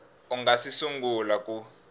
u nga si sungula ku